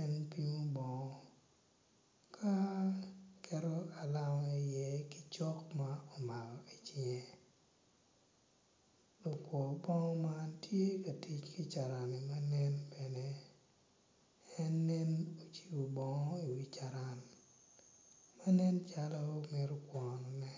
en pimo bongo ka keto alama i iye ki cok ma omako icinge lakwor bongo man tye ka tic ki carani manen bene en nen ocibo bongo iwi carani en nen calo mito kwoyone.